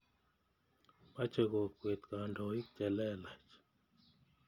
Mache kokwet kandoik che lelach.